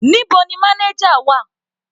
Níbo ni manager wà?